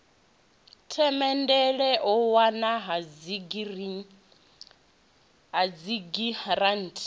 themendele u wanwa ha dzigiranthi